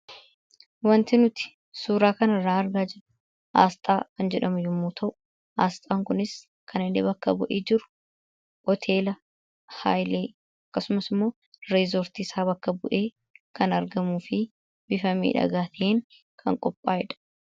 Waanti nuti suura kana irraa argaa jirru aasxaa kan jedhamu yemmuu ta'u, aasxaan kunis kan inni bakka bu'ee jiru hoteela Hailee akkasumas immoo reezoortii isaa bakka bu'ee kan argamuu fi bifa miidhagaa ta'een kan qophaa'eedha.